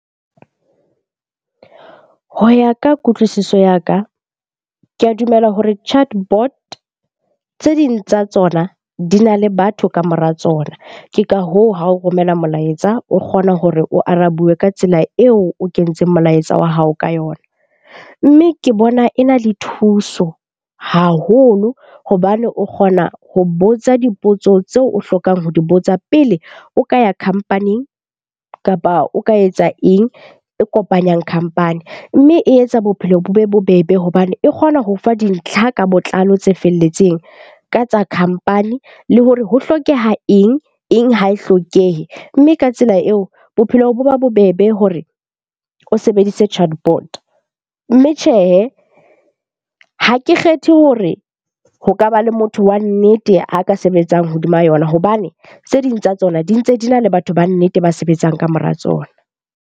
Ho ya ka kutlwisiso ya ka, ke a dumela hore chatbot tse ding tsa tsona di na le batho ka mora tsona. Ke ka hoo, ha o romela molaetsa o kgona hore o arabiwe ka tsela eo o kentseng molaetsa wa hao ka yona. Mme ke bona e na le thuso haholo hobane o kgona ho botsa dipotso tseo o hlokang ho di botsa pele o ka ya company-ing kapa o ka etsa eng e kopanyang company. Mme e etsa bophelo bo be bobebe hobane e kgona ho fa dintlha ka botlalo tse felletseng ka tsa company le hore ho hlokeha eng? Eng ha e hlokehe. Mme ka tsela eo bophelo bo ba bobebe hore o sebedise chatbot. Mme tjhehe, ha ke kgethe hore ho kaba le motho wa nnete a ka sebetsang hodima yona hobane tse ding tsa tsona di ntse di na le batho ba nnete ba sebetsang ka mora tsona.